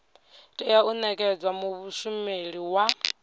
tea u nekedzwa mushumeli wa